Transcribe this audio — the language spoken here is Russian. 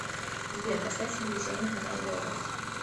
сбер поставь телевизионный канал белрос